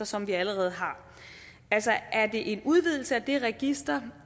som vi allerede har altså er det en udvidelse af det register